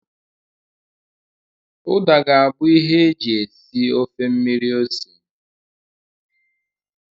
Uda ga-abụ ihe e ji esi ofe mmiri ose.